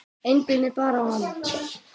Einblíndi bara á hann.